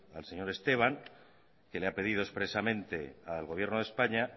al señor esteban que le ha pedido expresamente al gobierno de españa